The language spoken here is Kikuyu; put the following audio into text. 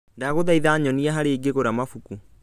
Ndagũthaitha nyonia harĩa ingĩgũra mabuku